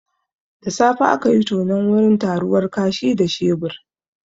Da safe akayi tonon wurin taruwar kashi da shebur